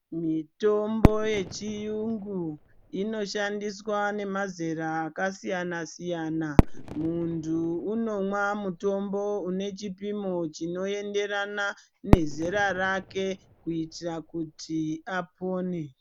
Mitombo yechiyungu, inoshandiswa nemazera akasiyana-siyana. Muntu unomwa mutombo une chipimo chinoenderana nezera rake kuitira kuti apone.